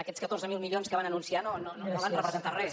aquests catorze mil milions que van anunciar no van representar res